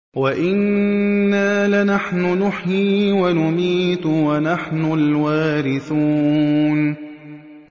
وَإِنَّا لَنَحْنُ نُحْيِي وَنُمِيتُ وَنَحْنُ الْوَارِثُونَ